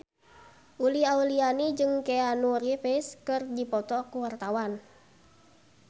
Uli Auliani jeung Keanu Reeves keur dipoto ku wartawan